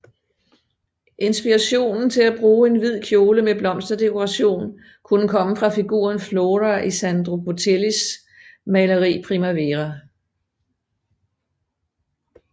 Inspirationen til at bruge en hvid kjole med blomsterdekoration kunne komme fra figuren Flora i Sandro Botticellis maleri Primavera